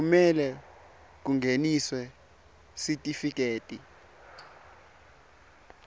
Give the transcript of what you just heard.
kumele kungeniswe sitifiketi